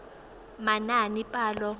manaanepalo